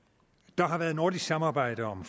der har været nordisk samarbejde om